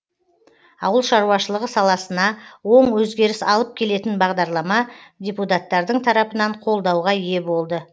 ауыл шаруашылығы саласына оң өзгеріс алып келетін бағдарлама депутаттардың тарапынан қолдауға ие болды